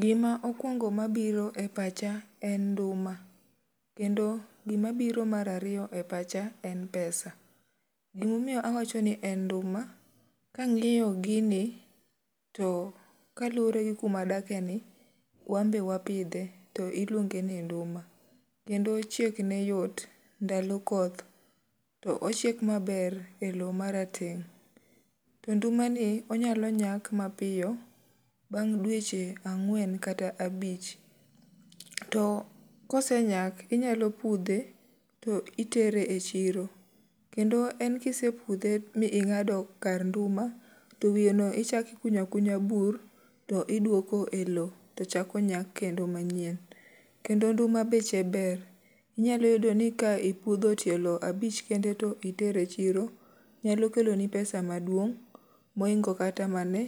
Gima okwongo ma biro e pacha en nduma. Kendo gima biro mar ariyo e pacha en pesa. Gima omiyo awacho ni en nduma, ka angýo gini to kaluwore gi kuma wadake ni, to wan be wapidhe, to iluonge ni nduma. Kendo chiek ne yot, ndalo koth, to ochiek maber e lowo ma rateng'. To nduma ni onyalo nyak mapiyo, bang' dweche ang'wen kata abich. To ka osenyak, inyalo pudhe to itere e chiro kendo en kisepudhe mi ingádo kar nduma, to wiye no ichak ikunyo akunya bur, to idwoko e lowo to chako nyak kendo manyien. Kendo nduma beche ber. Inyalo yudo ni ka ipudho tielo abich kende, to itero e chiro, nyalo keloni pesa maduong' mohingo kata mane